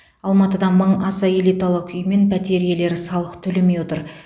алматыда мың аса элиталық үй мен пәтер иелері салық төлемей отыр